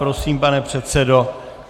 Prosím, pane předsedo.